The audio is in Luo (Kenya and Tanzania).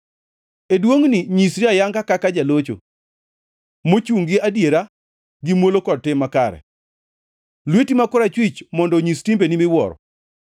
E duongʼni nyisri ayanga kaka jalocho mochungʼ ni adiera gi muolo kod tim makare; lweti ma korachwich mondo onyis timbeni miwuoro.